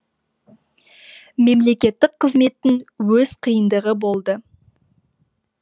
мемлекеттік қызметтің өз қиындығы болды